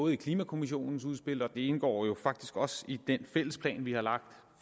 i klimakommissionens udspil og det indgår jo faktisk også i den fælles plan vi har lagt